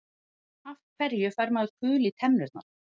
Af hverju fær maður kul í tennurnar?